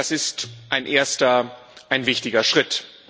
Das ist ein erster, ein wichtiger Schritt.